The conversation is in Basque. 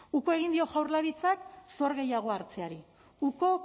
uko egin dio jaurlaritzak zor gehiago hartzeari uko